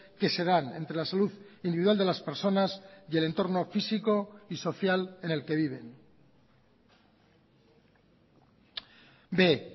que se dan entre la salud individual de las personas y el entorno físico y social en el que viven b